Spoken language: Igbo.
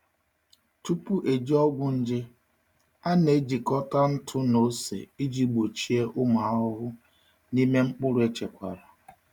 Tupu eji ọgwụ nje, a na-ejikọta ntụ na ose iji gbochie ụmụ ahụhụ n’ime mkpụrụ echekwara.